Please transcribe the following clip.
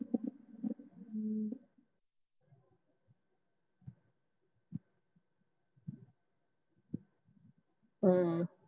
ਹਮ